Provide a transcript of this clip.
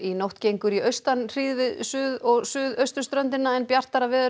nótt gengur í austan hríð við suður og suðausturströndina en bjartara veður